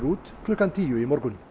út klukkan tíu í morgun